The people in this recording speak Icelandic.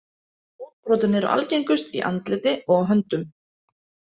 Útbrotin eru algengust í andliti og á höndum.